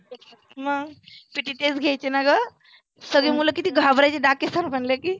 मग PT तेच घ्यायचे ना गंं. सगळे मुलं किती घाबरायचे डाके sir म्हटल की